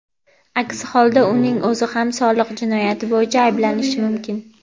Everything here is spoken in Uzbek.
aks holda uning o‘zi ham soliq jinoyati bo‘yicha ayblanishi mumkin.